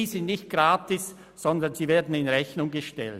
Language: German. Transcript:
Diese sind nicht gratis, sondern werden in Rechnung gestellt.